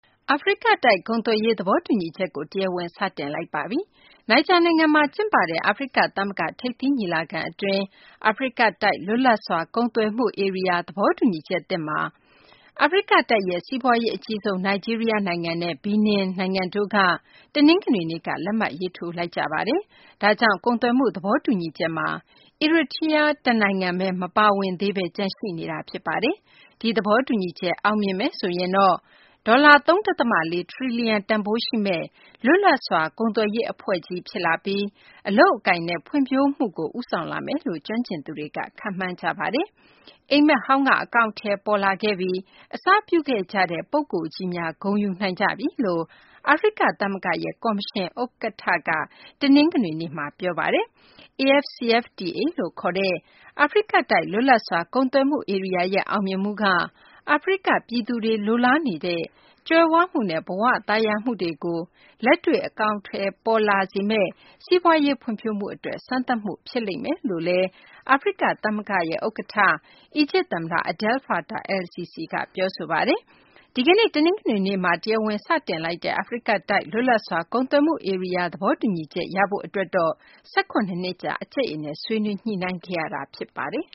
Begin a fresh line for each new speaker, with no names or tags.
အာဖရိကတိုက် ကုန်သွယ်ရေး သဘောတူညီချက်ကို တရားဝင် စတင်လိုက်ပါပြီ။ Niger နိုင်ငံမှာ ကျင်းပတဲ့ အာဖရိက သမဂ္ဂ ထိပ်သီးညီလာခံ အတွင်း အာဖရိကတိုက် လွတ်လပ်စွာ ကုန်သွယ်မှု ဧရိယာ သဘောတူညီချက်သစ်မှာ အာဖရိကတိုက်ရဲ့ စီးပွားရေး အကြီးဆုံး နိုင်ဂျီးရီးယား နိုင်ငံနဲ့ Benin နိုင်ငံတို့က တနင်္ဂနွေနေ့က လက်မှတ်ရေးထိုးလိုက်ကြပါတယ်။ ဒါကြောင့် ကုန်သွယ်မှု သဘောတူညီချက်မှာ Eritrea တနိုင်ငံဘဲ မပါဝင်သေးဘဲ ကျန်ရှိနေတာ ဖြစ်ပါတယ်။ ဒီသဘောတူညီချက် အောင်မြင်မယ်ဆိုရင်တော့ ဒေါ်လာ ၃ ဒသမ ၄ ထရီလီယံ တန်ဖိုးရှိမယ့် လွတ်လပ်စွာ ကုန်သွယ်ရေး အဖွဲ့ကြီး ဖြစ်လာပြီး အလုပ်အကိုင်တွေနဲ့ ဖွံ့ဖြိုးမှုကို ဦးဆောင်လာမယ်လို့ ကျွမ်းကျင်သူတွေက ခန့်မှန်းကြပါတယ်။ အိပ်မက်ဟောင်းက အကောင်အထည် ပေါ်လာခဲ့ပြီ၊ အစပြုခဲ့ကြတဲ့ ပုဂ္ဂိုလ်ကြီးများ ဂုဏ်ယူနိုင်ကြပြီလို့ အာဖရိက သမဂ္ဂရဲ့ ကော်မရှင် ဥက္ကဌ Moussa Faki က တနင်္ဂနွေနေ့မှာ ပြောဆိုသွားပါတယ်။ AfCFTA လို့ ခေါ်တဲ့ အာဖရိကတိုက် လွတ်လပ်စွာ ကုန်သွယ်မှု ဧရိယာရဲ့ အောင်မြင်မှုက အာဖရိက ပြည်သူတွေ လိုလားနေကြတဲ့ ကြွယ်ဝမှုနဲ့ ဘ၀ သာယာမှုတွေကို လက်တွေ့ အကောင်အထည်ပေါ်လာစေမယ့် စီးပွားရေး ဖွံ့ဖြိုးမှု အတွက် စမ်းသပ်မှု ဖြစ်လိမ့်မယ်လို့ အာဖရိက သမဂ္ဂရဲ့ ဥက္ကဋ္ဌ၊ အီဂျစ် သမ္မတ Abdel Fattah al-Sisi က ပြောဆိုပါတယ်။ ဒီကနေ့ တနင်္ဂနွေနေ့မှာ တရားဝင် စတင်လိုက်တဲ့ အာဖရိတိုက် လွတ်လပ်စွာ ကုန်သွယ်မှု ဧရိယာ သဘောတူညီချက် ရဖို့ အတွက်တော့ ၁၇ နှစ်ကြာ အကြိတ်အနယ် ဆွေးနွေးညှိနှိုင်းခဲ့ရတာ ဖြစ်ပါတယ်